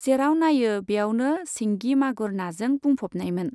जेराव नायो बेयावनो सिंगि मागुर नाजों बुंफबनायमोन।